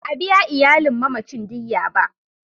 Ba a biya iyalin mamacin diyya ba.